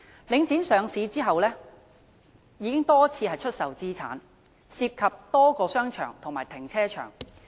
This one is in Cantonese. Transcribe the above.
領展上市後已經多次出售資產，涉及多個商場和停車場。